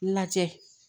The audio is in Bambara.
Lajɛ